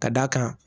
Ka d'a kan